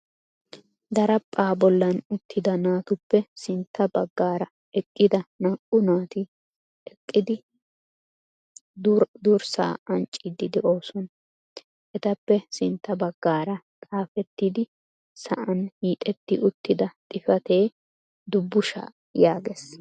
Daraphpha bollan uttida naatuppe sintta baggaara eqqida naa"u naati eqqidi duraa ancciidi de'oosona. Etappe sintta baggaara xaafetidi sa'aan hiixetti uttida xifaate " dubbushsha " yaagees.